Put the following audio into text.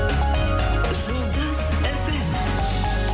жұлдыз фм